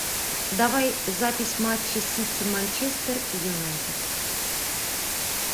давай запись матча сити манчестер юнайтед